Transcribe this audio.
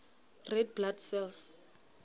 red blood cells